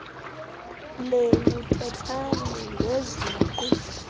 lenu thethani ngeziqu